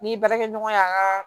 Ni baarakɛɲɔgɔn y'an ka